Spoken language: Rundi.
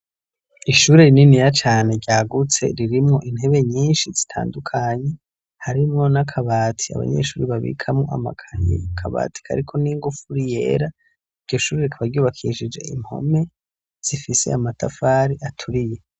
Ishuri rinini ya cane ryagutse ririmwo intebe nyinshi zitandukanye harimwo nakabati abanyeshuri babikamwo amakanyi kabatika, ariko n'ingufu uriyera igishuriri kabaryubakishije impome zifise amatafari aturiye.